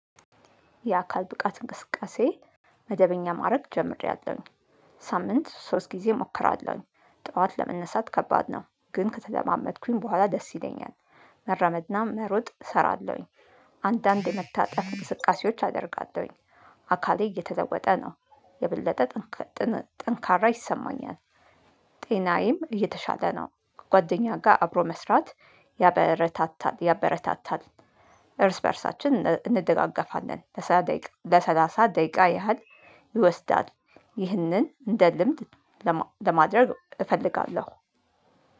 የአካል ብቃት እንቅስቃሴ መደበኛ ማረግ ጀምሬያለሁኝ። ሳምንት ሶስት ጊዜ እሞክራለሁኝ ጠዋት ለመነሳት ከባድ ነው። ግን ከተለማመድኩኝ በኋላ ደስ ይለኛል። መራመድና መሮጥ እሰራለሁኝ። አንዳንድ የመታጠፍ እንቅስቃሴዎች አደርጋለሁኝ። አካሌ እየተለወጠ ነው። የበለጠ ጥንካሬ ጥን ጠንካራ ይሰማኛል። ጤናዬም እየተሻለ ነው። ጓደኛ ጋር አብሮ መስራት ያበረታታል ያበረታታል። እርስ በእርሳችን እን እንደጋገፋለን ለሰላ ደቂቃ ለሰላሳ ደቂቃ ያህል ይወስዳል። ይህንን እንደ ልምድ ለማ ለማድረግ እፈልጋለሁ